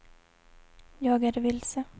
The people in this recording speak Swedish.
jag är vilse